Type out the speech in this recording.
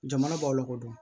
Jamana b'aw lakodɔn